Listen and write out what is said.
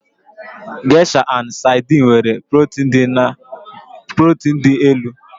Geisha na Saidin nwere protin dị elu.